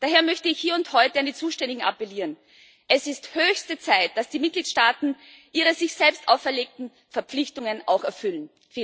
Daher möchte ich hier und heute an die Zuständigen appellieren Es ist höchste Zeit, dass die Mitgliedstaaten ihre sich selbst auferlegten Verpflichtungen auch erfüllen.